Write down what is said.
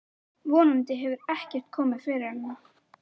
Von andi hefur ekkert komið fyrir hana.